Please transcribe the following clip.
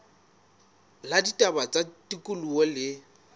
la ditaba tsa tikoloho le